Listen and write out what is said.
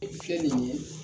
I fiyɛ nin ye